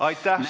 Aitäh!